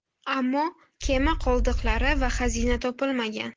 Ammo kema qoldiqlari va xazina topilmagan.